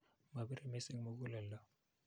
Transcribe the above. Mapire missing' mukuleldo.